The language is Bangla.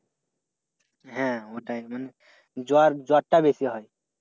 হ্যাঁ ওটাই মানে জ্বর জ্বরটা বেশি হচ্ছে।